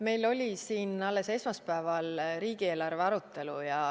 Meil oli siin alles esmaspäeval riigieelarve arutelu.